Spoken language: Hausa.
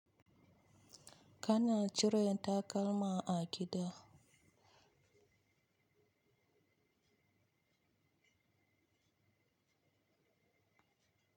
Kana cire takalma a gida?